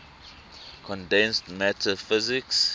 condensed matter physics